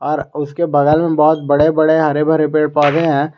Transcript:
और उसके बगल में बहोत बड़े बड़े हरे भरे पेड़ पौधे हैं।